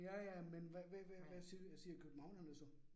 Ja ja, men hvad hvad hvad siger siger københavnerne så